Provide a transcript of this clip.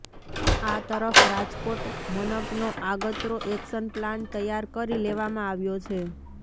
આ તરફ રાજકોટ મનપનો આગતરો એક્શન પ્લાન તૈયાર કરી લેવામા આવ્યો છે